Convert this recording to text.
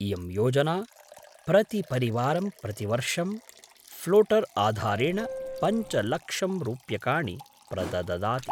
इयं योजना प्रतिपरिवारं प्रतिवर्षं फ्लोटर् आधारेण पञ्चलक्षं रूप्यकाणि प्रदददाति।